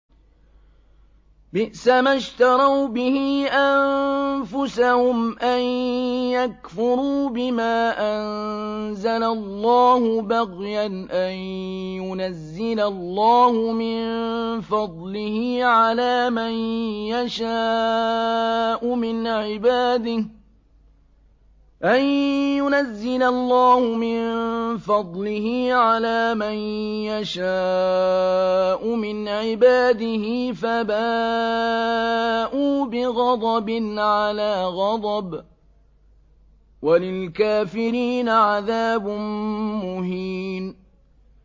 بِئْسَمَا اشْتَرَوْا بِهِ أَنفُسَهُمْ أَن يَكْفُرُوا بِمَا أَنزَلَ اللَّهُ بَغْيًا أَن يُنَزِّلَ اللَّهُ مِن فَضْلِهِ عَلَىٰ مَن يَشَاءُ مِنْ عِبَادِهِ ۖ فَبَاءُوا بِغَضَبٍ عَلَىٰ غَضَبٍ ۚ وَلِلْكَافِرِينَ عَذَابٌ مُّهِينٌ